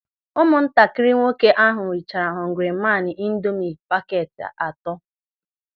Ụmụntakịrị nwoke ahụ richara họngri maan ịndomị pakeeti atọ.